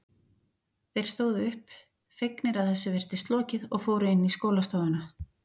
Þeir stóðu upp, fegnir að þessu virtist lokið og fóru inn í skólastofuna.